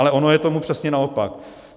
Ale ono je tomu přesně naopak.